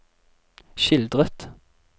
skildret